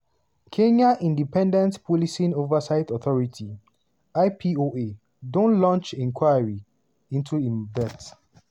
kenya independent policing oversight authority (ipoa) don launch inquiry into im death.